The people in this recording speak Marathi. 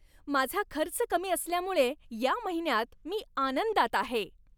माझा खर्च कमी असल्यामुळे या महिन्यात मी आनंदात आहे.